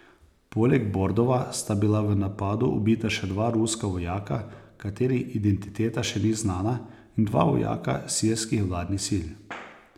Poleg Bordova sta bila v napadu ubita še dva ruska vojaka, katerih identiteta še ni znana, in dva vojaka sirskih vladnih sil.